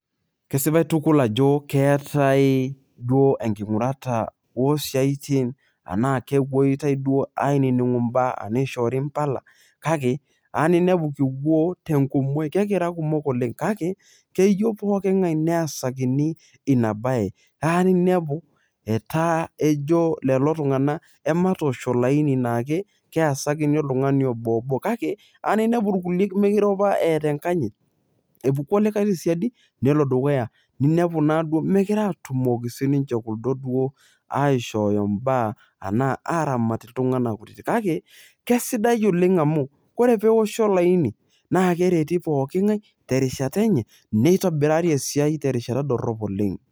kesipae tukul ajo keetae duo enking'urata o siatin, enaa kepuoi duo ainining'u ibaa nishoori mpala. kake eya ninepu kipuo tenkumoi. kekira kumok oleng kake keyieu, pookingae neesakini ina bae. keya ninepu etaa ejo leo tungana ematoosh olaini nake, keesakini oltungani obo obo. kake eya ninepu irkulie mikirupa eeta enkanyit. epuku olikae tesiadi nelo dukuya. neeku naduoo megira atumoki sii ninche kuldo duo aishoyo baa anaa aaramat iltunganak kake kesidai oleng amu, ore peoshi olaini naa kereti pooking'ae, terishata enye neitobirari esiai terishata dorop oleng.